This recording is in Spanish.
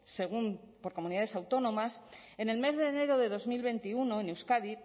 según por comunidades autónomas en el mes de enero de dos mil veintiuno en euskadi